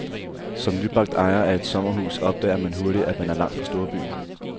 Som nybagt ejer af et sommerhus opdager man hurtigt, at man er langt fra storbyen.